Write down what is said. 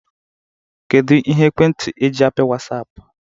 Kedu Ihe ekwentị eji apị Wasiapụ?